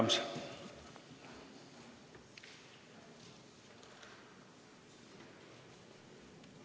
Aitäh!